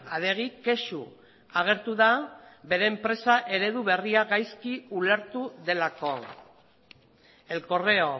adegi kexu agertu da bere enpresa eredu berria gaizki ulertu delako el correo